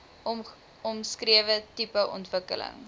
omskrewe tipe ontwikkeling